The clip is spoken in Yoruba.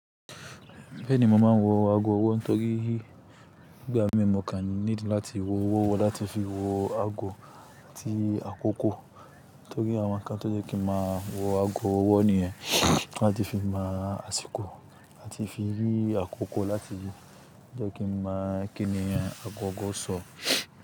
Bẹ́ẹ̀ ni, mo máa ń wo ago ọwọ́ tó rí ìgbà mi. Mo kàn need láti w'ọwọ́ láti fi wo ago àti àkókò. Torí àwọn ǹkan tó jẹ́ kí n máa wo ago ọwọ́ nìyẹn láti fi mọ àsìkò àti fi rí àkókò láti yí. Ó jẹ́ kí n mọ̀ kí ni agogọ́ so.